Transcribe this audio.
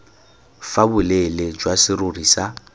fa boleele jwa serori sa